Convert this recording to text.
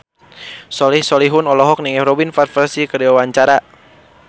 Soleh Solihun olohok ningali Robin Van Persie keur diwawancara